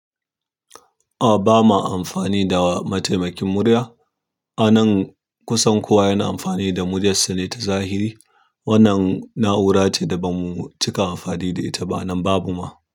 A ba ma amfani da mataimakin murya. A nan kusan kowa yana amfani da muryarsa ne ta zahiri. Wannan na'ura ce da ba mu cika amfani da ita ba nan babu ma.